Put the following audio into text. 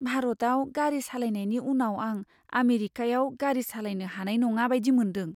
भारतआव गारि सालायनायनि उनाव आं आमेरिकायाव गारि सालायनो हानाय नङा बायदि मोनदों।